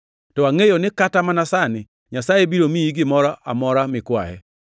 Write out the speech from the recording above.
To angʼeyo ni kata mana sani Nyasaye biro miyi gimoro amora mikwaye.”